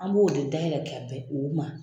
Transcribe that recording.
An b'o de dayɛlɛ kɛ bɛn o ma.